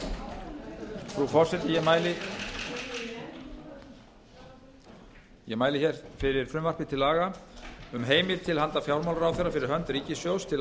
frú forseti ég mæli fyrir frumvarpi til laga um heimild til handa fjármálaráðherra fyrir hönd ríkissjóðs til að